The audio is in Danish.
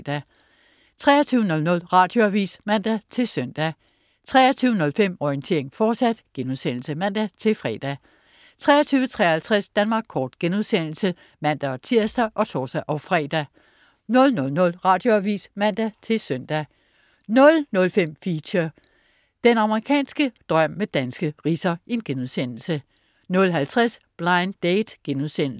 23.00 Radioavis (man-søn) 23.05 Orientering, fortsat* (man-fre) 23.53 Danmark kort* (man-tirs og tors-fre) 00.00 Radioavis (man-søn) 00.05 Feature: Den amerikanske drøm, med danske ridser* 00.50 Blind Date*